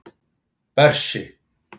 Bersi